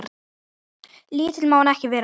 Lítill má hann ekki vera.